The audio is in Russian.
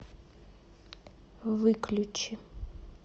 выключи